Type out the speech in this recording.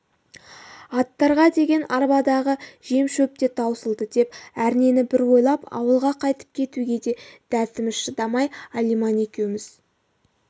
аттарға деген арбадағы жем-шөп те таусылды деп әрнені бір ойлап ауылға қайтып кетуге де дәтіміз шыдамай алиман екеуміз